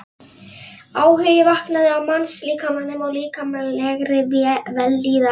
Áhugi vaknaði á mannslíkamanum og líkamlegri vellíðan.